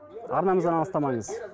арнамыздан алыстамаңыз